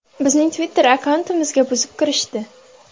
Bizning Twitter-akkauntimizga buzib kirishdi.